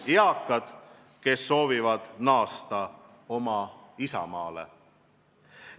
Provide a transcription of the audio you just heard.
Eakad, kes soovivad naasta oma isamaale.